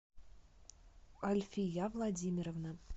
альфия владимировна